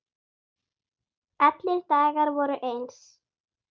Allir dagar voru eins.